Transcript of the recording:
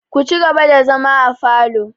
Ku ci gaba da zama afalo!